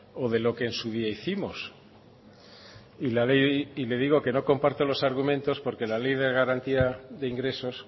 o de lo que en su día hicimos le digo que no comparto los argumentos porque la ley de garantías de ingresos